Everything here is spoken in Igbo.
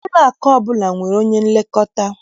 Ụlọakụ ọbụla nwere onye nlekọta